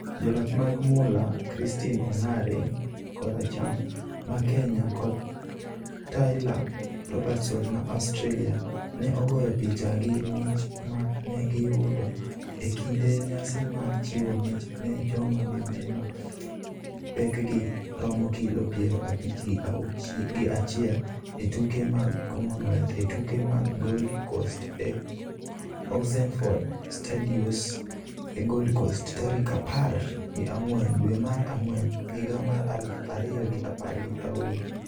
Joloch mag mula Christine Ongare (Koracham) ma Kenya kod Taylah Robertson ma Australia ne ogoyo picha gi mich ma ne giyudo e kinde nyasi mar chiwo mich ne joma mine ma pekgi romo kilo piero abich gi achiel e tuke mag Commonwealth e tuke mag Gold Coast e Oxenford Studios e Gold Coast, tarik apar gi ang'wen dwe mar ang'wen higa mar aluf ariyo gi apar gi aboro.